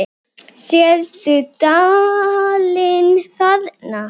Sérðu dalinn þarna?